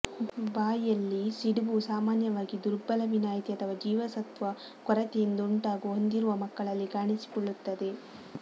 ಬಾಯಿಯಲ್ಲಿ ಸಿಡುಬು ಸಾಮಾನ್ಯವಾಗಿ ದುರ್ಬಲ ವಿನಾಯಿತಿ ಅಥವಾ ಜೀವಸತ್ವ ಕೊರತೆಯಿಂದುಂಟಾಗುವ ಹೊಂದಿರುವ ಮಕ್ಕಳಲ್ಲಿ ಕಾಣಿಸಿಕೊಳ್ಳುತ್ತದೆ